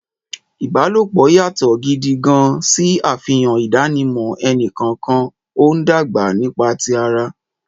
Ìbálòpọ̀ yàtọ̀ gidi gan-an, ṣe àfihàn ìdánimọ̀ ẹnì kọ̀ọ̀kan, ó ń dàgbà nípa ti ara.